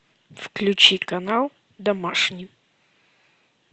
включи канал домашний